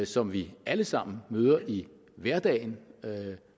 som vi alle sammen møder i hverdagen og